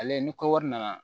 Ale ni kɔwari nana